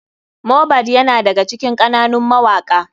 Mohbad yana daga cikin ƙananun mawaka.